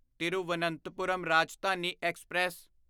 Thiruvananthapuram Rajdhani express